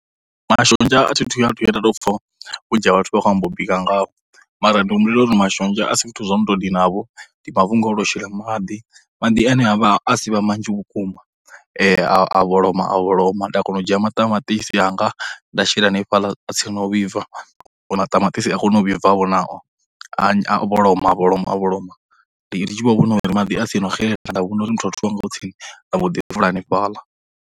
Mashonzha a thi thu vhuya nda tou pfha vhunzhi ha vhathu vha khou amba u bika ngao, mara ndi humbulela uri mashonzha a si zwithu zwo no tou dinavho, ndi mafhungo o tou shele maḓi, maḓi ane a vha a si vhe manzhi vhukuma, a vholoma a vholoma, nda kona u dzhia maṱamaṱisi anga nda shela hanefhala tsini no vhibva u maṱamaṱisi a kone u vhibvavho nao, a vholoma a vholoma a vholoma, ndi tshi vho vhona uri maḓi a tsini no xe, nda vhona uri muthotho wanga u tsini nda mbo ḓi fula hanefhaḽa.